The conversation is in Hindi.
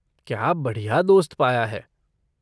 क्या बढ़िया दोस्त पाया है!